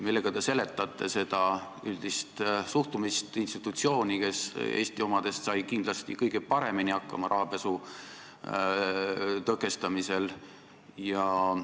Millega te seletate seda üldist suhtumist institutsiooni, kes Eesti omadest on kindlasti kõige paremini hakkama saanud rahapesu tõkestamisega?